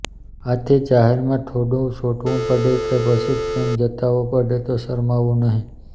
આથી જાહેરમાં થોડુ ચોંટવું પડે કે પછી પ્રેમ જતાવવો પડે તો શરમાવવું નહિ